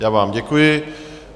Já vám děkuji.